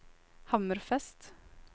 Hammerfest